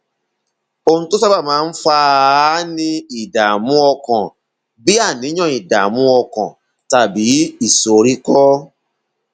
ohun tó sábà máa ń fà á ni ìdààmú ọkàn bí àníyàn ìdààmú ọkàn tàbí ìsoríkọ